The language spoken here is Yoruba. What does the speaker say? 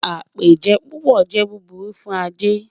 Apéjẹ́ púpọ̀ jẹ́ búbúrù fún ajẹ́.